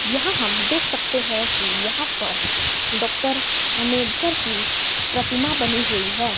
यहां हम देख सकते हैं कि यहां पर डॉक्टर अंबेडकर की प्रतिमा बनी हुई है।